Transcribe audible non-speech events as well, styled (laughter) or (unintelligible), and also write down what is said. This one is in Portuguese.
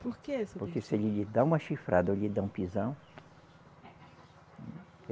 Por que? (unintelligible) Porque se ele lhe dar uma chifrada ou lhe der um pisão.